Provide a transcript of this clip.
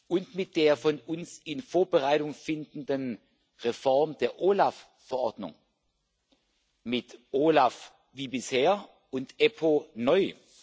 und mit der von uns in Vorbereitung befindlichen Reform der OLAF Verordnung, mit OLAF wie bisher und EPPO neu.